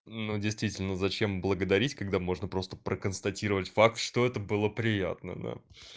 но действительно зачем благодарить когда можно просто проконстатировать факт что это было приятно да